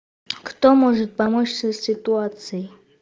кто может помочь в сей ситуацией